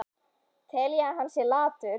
Tel ég að hann sé latur?